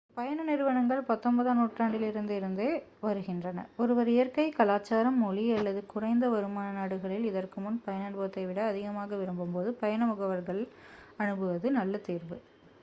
பயண நிறுவனங்கள் 19 ம் நூற்றாண்டிலிருந்தே இருந்து வருகின்றன ஒருவர் இயற்கை கலாசாரம் மொழி அல்லது குறைந்த வருமான நாடுகளில் இதற்கு முன் பயண அனுபவத்தை விட அதிகமாக விரும்பும் போது பயண முகவர்களை அணுகுவது நல்ல தேர்வு